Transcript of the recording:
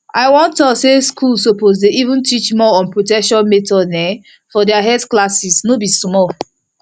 i wan talk say schools suppose dey even teach more on protection methods um for their health classes no be small